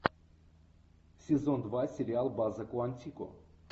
сезон два сериал база куантико